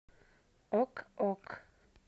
ок ок